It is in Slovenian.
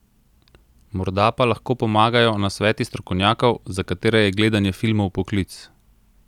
Morda pa lahko pomagajo nasveti strokovnjakov, za katere je gledanje filmov poklic?